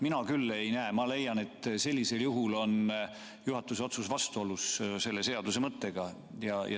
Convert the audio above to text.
Mina küll leian, et sellisel juhul on juhatuse otsus vastuolus selle seaduse mõttega.